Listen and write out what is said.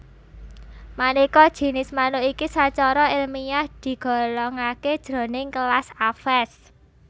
Manéka jinis manuk iki sacara èlmiah digolongaké jroning kelas Aves